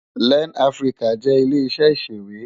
Lèn Afiriká jè ilé iṣè iṣéwé